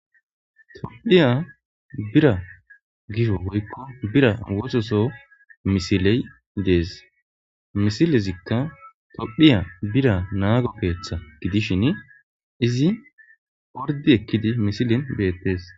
Tophiya bira gisho woykko bira wososo misiley dees misilezikka tophiya bira naago keeththa gidishin izi orddi ekkidi misilin beettes.